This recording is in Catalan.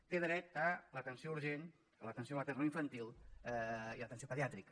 té dret a l’atenció urgent a l’atenció maternoinfantil i atenció pediàtrica